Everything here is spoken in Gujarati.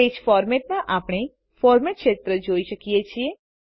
પેજ Formatમાં આપણે ફોર્મેટ ક્ષેત્ર જોઈ શકીએ છીએ